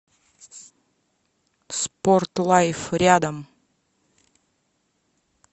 спорт лайф рядом